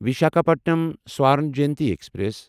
Visakhapatnam Swarna Jayanti express